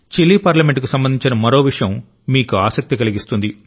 Chile పార్లమెంటుకు సంబంధించిన మరో విషయం మీకు ఆసక్తి కలిగిస్తుంది